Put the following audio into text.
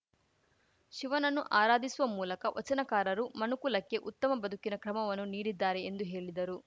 ಶಿವನನ್ನು ಆರಾಧಿಸುವ ಮೂಲಕ ವಚನಕಾರರು ಮನುಕುಲಕ್ಕೆ ಉತ್ತಮ ಬದುಕಿನ ಕ್ರಮವನ್ನು ನೀಡಿದ್ದಾರೆ ಎಂದು ಹೇಲಿದರು